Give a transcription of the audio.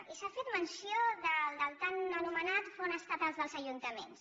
i s’ha fet menció del tan anomenat fons estatal dels ajuntaments